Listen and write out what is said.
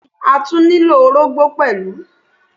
Bẹ́ẹ̀ni, a tún nílò orógbó pẹ̀lú.